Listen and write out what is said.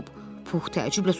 Pux təəccüblə soruşdu.